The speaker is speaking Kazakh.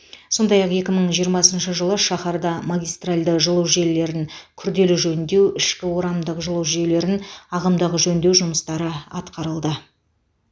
сондай ақ екі мың жиырмасыншы жылы шаһарда магистральды жылу желілерін күрделі жөндеу ішкі орамдық жылу жүйелерін ағымдағы жөндеу жұмыстары атқарылды